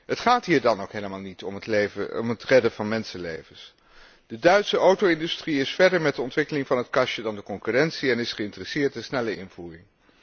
Het gaat hier dan ook helemaal niet om het redden van mensenlevens. De Duitse auto industrie is verder met de ontwikkeling van het kastje dan de concurrentie en is geïnteresseerd in snelle invoering.